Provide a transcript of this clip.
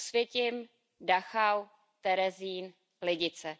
Osvětim, Dachau, Terezín, Lidice.